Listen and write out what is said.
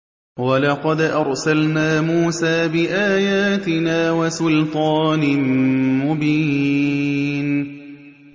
وَلَقَدْ أَرْسَلْنَا مُوسَىٰ بِآيَاتِنَا وَسُلْطَانٍ مُّبِينٍ